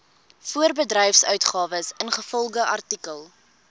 voorbedryfsuitgawes ingevolge artikel